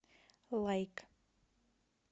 лайк